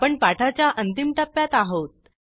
आपण पाठाच्या अंतिम टप्प्यात आहोत